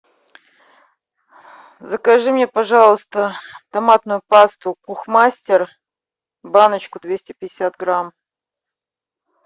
закажи мне пожалуйста томатную пасту кухмастер баночку двести пятьдесят грамм